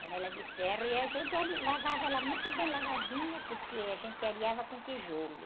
Panela de ferro e a gente ali, lavava ela muito bem lavadinha, porque a gente areava com tijolo.